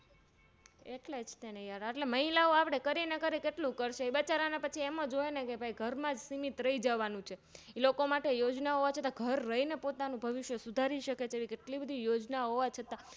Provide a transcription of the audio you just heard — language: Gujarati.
એટલેજતે ને Yar મહિલાઓ કરીને કેટલું કરશે એમજ હોયને બચારાને ઘરમાં જ સીમિત રહી જવાનું છે લોકો માટે યોજનાઓ ઘર રહીને પોતાનું ભવિષ્ય સુધારી સકે તેવી કેટલી યોજના હોવા છતાં